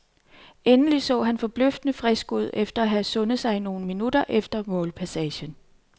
Egentlig så han forbløffende frisk ud efter at have sundet sig nogle minutter efter målpassagen.